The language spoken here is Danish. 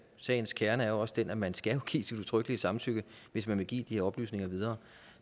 sagens kerne er også den at man skal give sit udtrykkelige samtykke hvis man vil give de her oplysninger videre